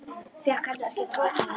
Fékk heldur ekki tóm til þess.